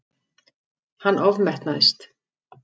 Hann ofmetnaðist.